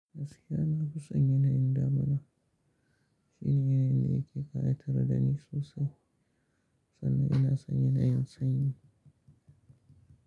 Gaskiya na fi son yanayin damina. Shine yanayin da yake ƙayatar da ni sosai sannan ina son yanayin sanyi.